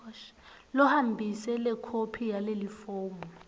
lohambise lekhophi yalelifomu